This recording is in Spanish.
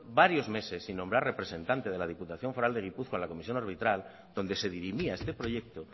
varios meses sin nombrar representante de la diputación foral de gipuzkoa a la comisión arbitral donde se dirimía este proyecto